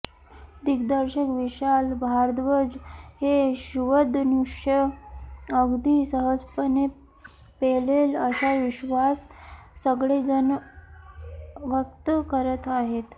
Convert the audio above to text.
दिग्दर्शक विशाल भारद्वाज हे शिवधनुष्य अगदी सहजपणे पेलेल असा विश्वास सगळेचजण व्यक्त करत आहेत